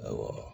Awɔ